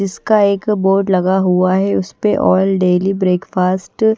इसक एक अः बोर्ड लगा हुआ है उसपे ऑइल डेली ब्रेकफास्ट --